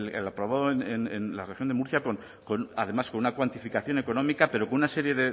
el aprobado en la región de murcia además con una cuantificación económica pero con una serie